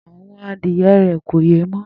Àwo̩n adíye̩ rè̩ kò yé mó̩